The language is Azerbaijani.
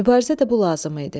Mübarizə də bu lazım idi.